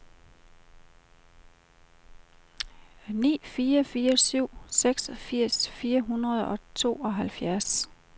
ni fire fire syv seksogfirs fire hundrede og tooghalvfjerds